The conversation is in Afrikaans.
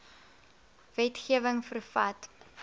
wetge wing vervat